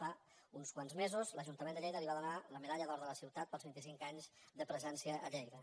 fa uns quants mesos l’ajuntament de lleida li va donar la medalla d’or de la ciutat pels vint i cinc anys de presència a lleida